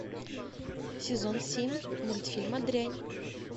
сезон семь мультфильма дрянь